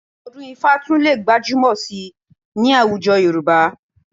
Ọdún-ifá tún lè gbajúmọ̀ síi ní àwùjọ Yorùbá